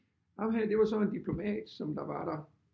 Ham her det var så en diplomat som der var der